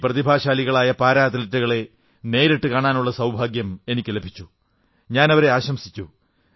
ഈ പ്രതിഭാശാലികളായ പാരാ അത്ലറ്റുകളെ നേരിട്ട് കാണാനുള്ള സൌഭാഗ്യം എനിക്കു ലഭിച്ചു ഞാനവരെ ആശംസിച്ചു